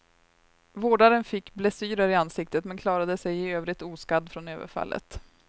Vårdaren fick blessyrer i ansiktet, men klarade sig i övrigt oskadd från överfallet.